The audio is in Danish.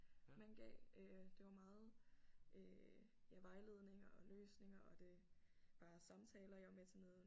Man gav øh det var meget øh ja vejledninger og løsninger og det bare samtaler jeg var med til noget